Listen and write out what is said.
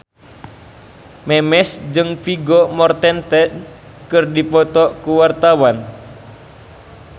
Memes jeung Vigo Mortensen keur dipoto ku wartawan